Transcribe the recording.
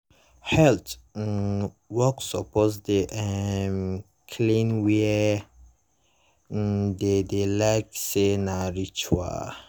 health um worker suppose dey um clean where um dem dey like say na ritual.